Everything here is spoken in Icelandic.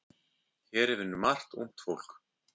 Hér vinnur margt ungt fólk.